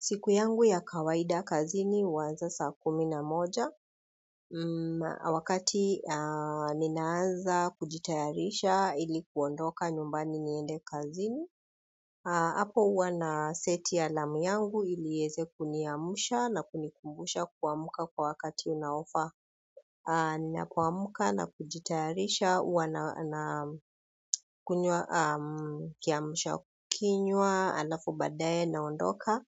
Siku yangu ya kawaida kazini huanza saa kumi na moja. Wakati ninaanza kujitayarisha ilikuondoka nyumbani niende kazini hapo huwa naseti alamu yangu iliiweze kuniamsha na kunikumbusha kuamka kwa wakati unaofaa. Ninapoamka na kujitayarisha huwa na kunywa kiamsha kinywa halafu baadaye naondoka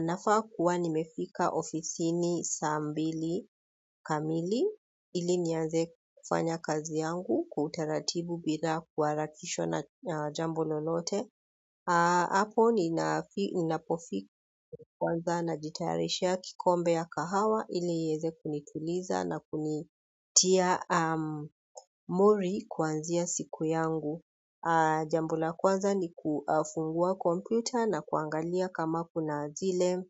nafaa kuwa nimefika ofisini saa mbili kamili ili nianze kufanya kazi yangu kwa utaratibu bila kuharakisha na jambo lolote hapo ninapofika kwanza najitayarishia kikombe ya kahawa ili iweze kunituliza na kunitia mudi kwanzia siku yangu. Jambo la kwanza ni kufungua kompyuta na kuangalia kama kuna zile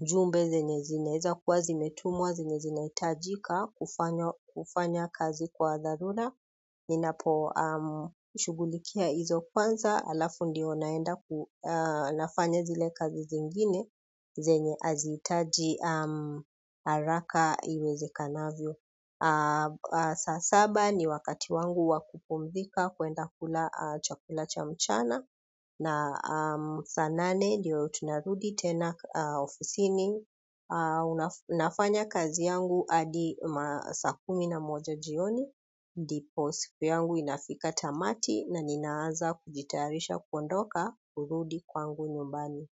ujumbe zenye zinaweza kwa zimetumuwa zenye zinahitajika kufanya kazi kwa dharura. Ninaposhughulikia hizo kwanza halafu ndiyo naenda nafanya zile kazi zingine zenye hazihitaji haraka iwezekanavyo saa saba ni wakati wangu wa kupumzika kwenda kula chakula cha mchana na saa nane ndiyo tunarudi tena ofisini nafanya kazi yangu hadi saa kumi na moja jioni ndipo siku yangu inafika tamati na ninaanza kujitayarisha kuondoka kurudi kwangu nyumbani.